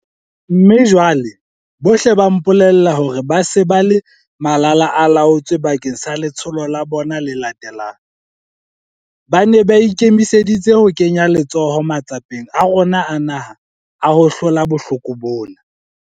Mme jwale, bohle ba mpolella hore ba se ba le malalaalaotswe bakeng sa letsholo la bona le latelang. Ba ne ba ikemiseditse ho kenya letsoho matsapeng a rona a naha a ho hlola bohloko bona.